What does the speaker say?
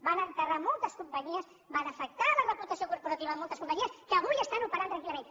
van enterrar moltes companyies van afectar la reputació corporativa de moltes companyies que avui estan operant tranquil·lament